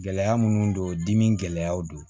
Gɛlɛya minnu don dimi gɛlɛyaw don